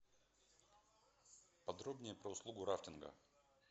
подробнее про услугу рафтинга